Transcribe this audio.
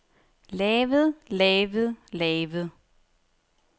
lavet lavet lavet